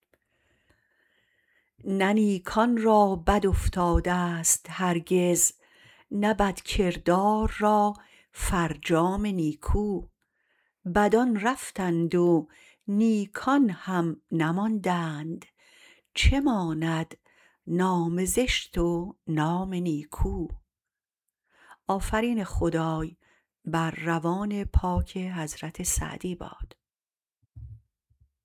نه نیکان را بد افتادست هرگز نه بدکردار را فرجام نیکو بدان رفتند و نیکان هم نماندند چه ماند نام زشت و نام نیکو